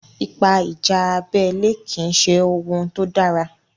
Ipa ìjà abẹ́lé kì í ṣe ohun tó dára.